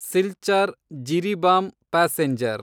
Silchar Jiribam passenger